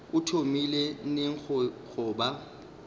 o thomile neng go ba